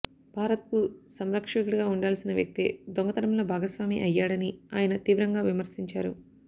భారత్కు సంరక్షకుడిగా ఉండాల్సిన వ్యక్తే దొంగతనంలో భాగస్వామి అయ్యాడని ఆయన తీవ్రంగా విమర్శించారు